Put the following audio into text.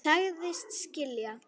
Sagðist skilja.